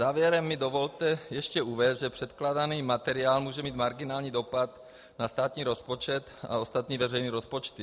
Závěrem mi dovolte ještě uvést, že předkládaný materiál může mít marginální dopad na státní rozpočet a ostatní veřejné rozpočty.